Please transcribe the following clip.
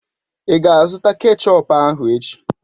Ị ga-azụta kechọp ahụ echi?